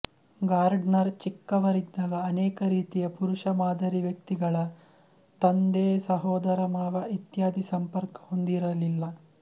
Gardner ಚಿಕ್ಕವರಿದ್ದಾಗ ಅನೇಕ ರೀತಿಯಪುರುಷ ಮಾದರಿ ವ್ಯಕ್ತಿಗಳತಂದೆಸಹೋದರಮಾವಇತ್ಯಾದಿ ಸಂಪರ್ಕ ಹೊಂದಿರಲಿಲ್ಲ